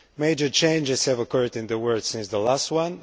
Major changes have occurred in the world since the last one.